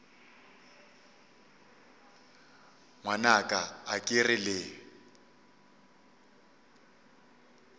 ngwanaka a ke re le